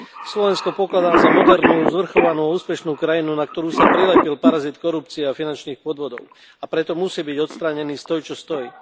Slovensko pokladám za modernú, zvrchovanú, úspešnú krajinu, na ktorú sa prilepil parazit korupcie a finančných podvodov, a preto musí byť odstránený stoj čo stoj.